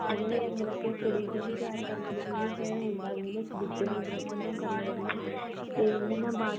ਉਹਨੇ ਮਤਲਬ ਕੇ ਕੁੜੀ ਨੂੰ ਪਿਆਰ ਕਰਨ ਤੇ ਮੁੰਡਾ ਵੀ ਦੋਨੋ ਇੱਕ ਦੁੱਜੇ ਨੂੰ ਤੇ ਹਨਾ